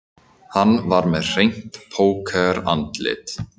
Hann var með hreint pókerandlit